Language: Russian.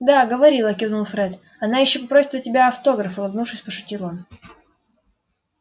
да говорила кивнул фред она ещё попросит у тебя автограф улыбнувшись пошутил он